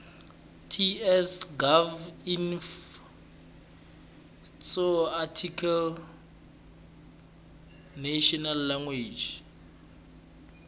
ts gov inf tsoarticlenational language